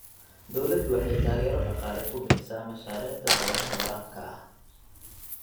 Dawladdu waxay taageero dhaqaale ku bixisaa mashaariicda beeraha waraabka ah.